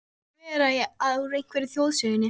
Hlaut að vera úr einhverri þjóðsögunni.